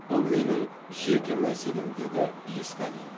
бұл менің жеке мәселем деді есқалиев